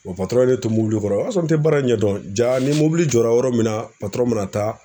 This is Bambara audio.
ye ne to kɔrɔ o y'a sɔrɔ n tɛ baara in ɲɛdɔn ni jɔra yɔrɔ min na mina taa